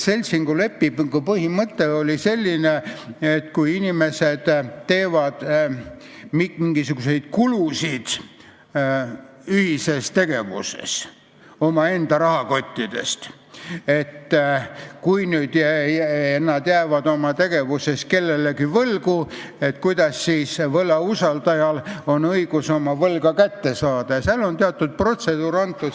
Seltsingulepingu põhimõte on selline, et kui inimesed teevad ühises tegevuses mingisuguseid kulutusi omaenda rahakotist ja kui nad jäävad oma tegevuses kellelegi võlgu, siis selleks, et võlausaldajal oleks õigus oma võlga kätte saada, on teatud protseduur antud.